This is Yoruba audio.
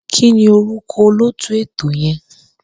Kí ni orúkọ olóòtú ètò yẹn?